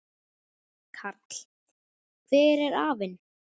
Karl: Hver er aflinn?